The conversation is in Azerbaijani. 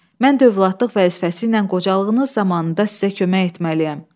Mən də övladlıq vəzifəsi ilə qocalığınız zamanında sizə kömək etməliyəm.